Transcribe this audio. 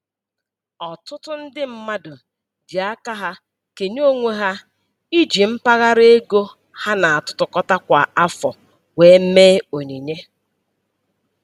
Ọtụtụ ndị mmadụ ji aka ha kenye onwe ha iji mpaghara ego ha na-atụkọta kwa afọ wee mee onyinye